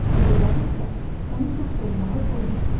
Gecələr isə onu çox soyumağa qoymur.